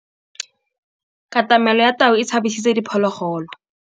Katamêlô ya tau e tshabisitse diphôlôgôlô.